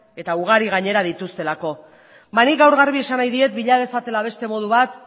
eta ugari gainera dituztelako nik gaur garbi esan nahi diet bila dezatela beste modu bat